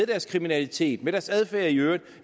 deres kriminalitet og deres adfærd i øvrigt